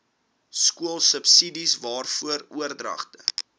skoolsubsidies waarvan oordragte